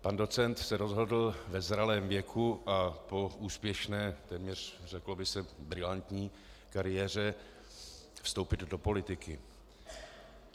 Pan docent se rozhodl ve zralém věku a po úspěšné, téměř řeklo by se brilantní kariéře vstoupit do politiky.